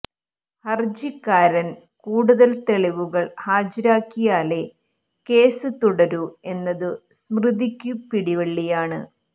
ഹർജിക്കാരൻ കൂടുതൽ തെളിവുകൾ ഹാജരാക്കിയാലേ കേസ് തുടരൂ എന്നതു സ്മൃതിക്കു പിടിവള്ളിയാണ്